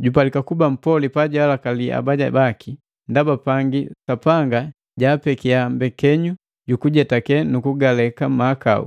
jupalika kuba mpoli pajalakali abaja baki, ndaba pangi Sapanga jaapekiya mbekenyu jukujetake na kugaleka mahakau,